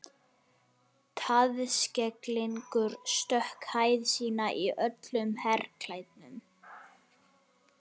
Taðskegglingur.stökk hæð sína í öllum herklæðum